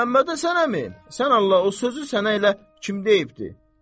Məmmədhəsən əmi, sən Allah o sözü sənə elə kim deyibdir?